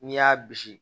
N'i y'a bisi